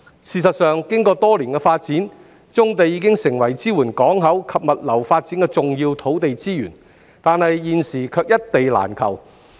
事實上，經過多年的發展，棕地已經成為支援港口及物流發展的重要土地資源，但現時卻一地難求。